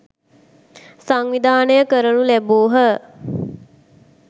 සංවිධානය කරනු ලැබූහ.